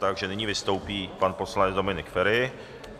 Takže nyní vystoupí pan poslanec Dominik Feri.